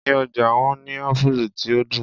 Ní ọjà wọ́n ní Ápúlú tí ó dùn.